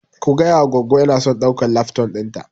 Ka gayawa goggo inason ɗaukan lafton ɗina